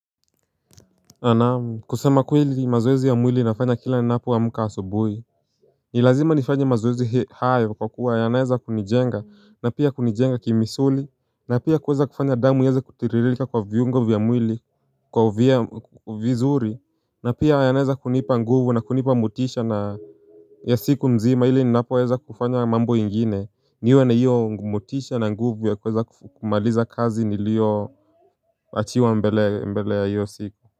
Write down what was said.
Naam kusema kweli mazoezi ya mwili nafanya kila ninapoamka asubuhi. Ni lazima nifanye mazoezi hayo kwa kuwa yanaeza kunijenga na pia kunijenga kimisuli na pia kuweza kufanya damu ieze kutiririka kwa viungo vya mwili kwa vizuri na pia yanaeza kunipa nguvu na kunipa motisha na ya siku mzima ili ninapoweza kufanya mambo ingine niwe na hiyo motisha na nguvu ya kuweza kumaliza kazi nilioachiwa mbeleni mbele ya hiyo siku.